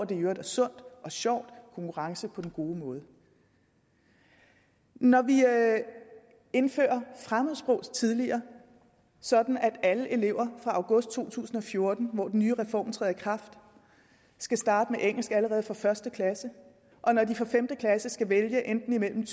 det i øvrigt er sundt og sjovt konkurrence på en god måde når vi indfører fremmedsprog tidligere sådan at alle elever fra august to tusind og fjorten hvor den nye reform træder i kraft skal starte med engelsk allerede fra første klasse og når de fra femte klasse skal vælge imellem